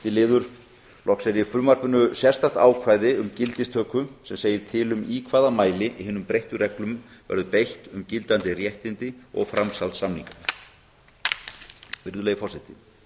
fimmta loks er í frumvarpinu sérstakt ákvæði um gildistöku sem segir til um í hvaða mæli hinum breyttu reglum verður beitt um gildandi réttindi og framsalssamninga virðulegi forseti